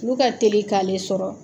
Olu ka teli k'ale sɔrɔ.